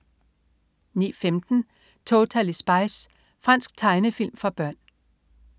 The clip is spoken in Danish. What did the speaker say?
09.15 Totally Spies. Fransk tegnefilm for børn